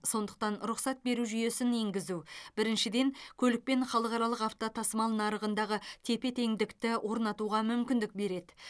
сондықтан рұқсат беру жүйесін енгізу біріншіден көлікпен халықаралық автотасымал нарығындағы тепе теңдікті орнатуға мүмкіндік береді